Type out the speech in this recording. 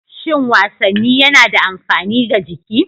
Shin wasanni yana da amfani ga jiki?